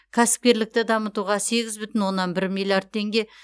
кәсіпкерлікті дамытуға сегіз бүтін оннан бір миллиард теңге